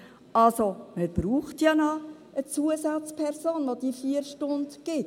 Also: Man braucht ja noch eine Zusatzperson, die diese 4 Stunden gibt.